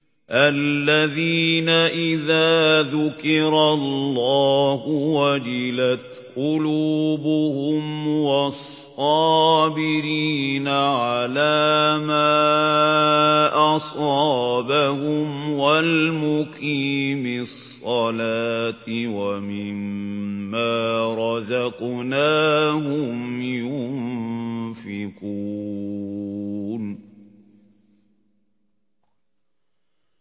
الَّذِينَ إِذَا ذُكِرَ اللَّهُ وَجِلَتْ قُلُوبُهُمْ وَالصَّابِرِينَ عَلَىٰ مَا أَصَابَهُمْ وَالْمُقِيمِي الصَّلَاةِ وَمِمَّا رَزَقْنَاهُمْ يُنفِقُونَ